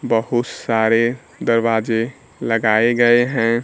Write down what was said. बहुत सारे दरवाजे लगाए गए हैं।